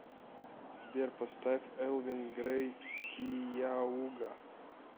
сбер поставь элвин грэй кияуга